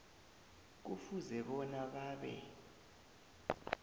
kufuze bona babe